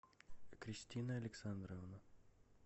кристина александровна